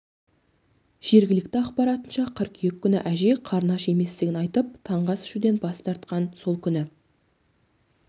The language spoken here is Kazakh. жергілікті ақпаратынша қыркүйек күні әжей қарны аш еместігін айтып таңғы ас ішуден бас тартқан сол күні